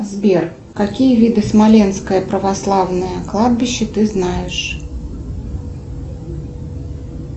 сбер какие виды смоленское православное кладбище ты знаешь